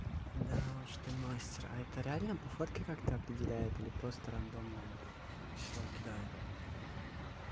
да уж ты мастер а это реально по фотке как-то определяет или просто рандомное число кидает